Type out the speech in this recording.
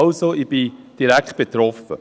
Ich bin also direkt betroffen.